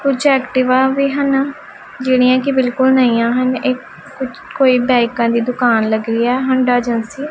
ਕੁੱਛ ਐਕਟਿਵਾ ਵੀ ਹਨ ਜਿਹੜੀਆਂ ਕੀ ਬਿਲਕੁਲ ਨਈ ਆ ਹਨ ਇੱਕ ਕੁਝ ਕੋਈ ਬਾਇਕਾਂ ਦੀ ਦੁਕਾਨ ਲੱਗੀ ਹੋਈਆ ਹੋਂਡਾ ਏਜੇਂਸੀ ।